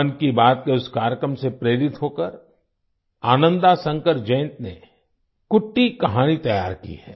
मन की बात के उस कार्यक्रम से प्रेरित होकर आनंदा शंकर जयंत ने कुट्टी कहानी तैयार की है